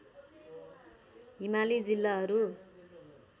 हिमाली जिल्लाहरू